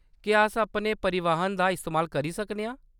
क्या अस अपने परिवहन दा इस्तेमाल करी सकने आं ?